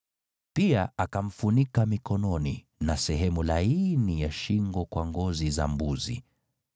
Pia akamfunika mikononi na sehemu laini ya shingo kwa ngozi za mbuzi.